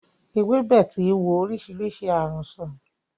Ewébẹ̀ ti wo oríṣiríṣi ààrùn sán.